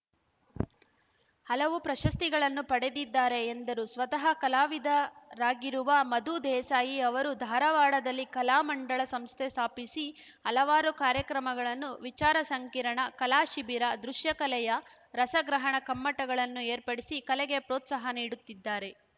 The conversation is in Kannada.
ಹಲವು ಪ್ರಶಸ್ತಿಗಳನ್ನು ಪಡೆದಿದ್ದಾರೆ ಎಂದರು ಸ್ವತಃ ಕಲಾವಿದರಾಗಿರುವ ಮಧು ದೇಸಾಯಿ ಅವರು ಧಾರವಾಡದಲ್ಲಿ ಕಲಾಮಂಡಳ ಸಂಸ್ಥೆ ಸ್ಥಾಪಿಸಿ ಹಲವಾರು ಕಾರ್ಯಕ್ರಮಗಳನ್ನು ವಿಚಾರ ಸಂಕಿರಣ ಕಲಾ ಶಿಬಿರ ದೃಶ್ಯಕಲೆಯ ರಸಗ್ರಹಣ ಕಮ್ಮಟಗಳನ್ನು ಏರ್ಪಡಿಸಿ ಕಲೆಗೆ ಪ್ರೋತ್ಸಾಹ ನೀಡುತ್ತಿದ್ದಾರೆ